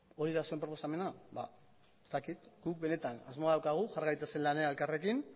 hori da zuen proposamena guk benetan asmoa daukagu jar gaitezen lanean elkarrekin